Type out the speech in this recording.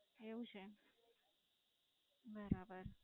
એવું છે? બરાબર.